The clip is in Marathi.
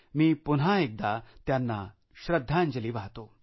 मी पुन्हा एकदा त्यांना श्रद्धांजली वाहतो